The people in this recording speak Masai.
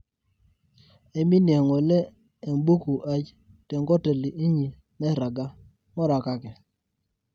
aiminie ngole embuku aai tenkoteli inyi nairagga, ngurakaki